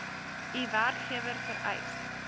u werkgewer vereis